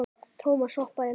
Thomas hoppaði í land.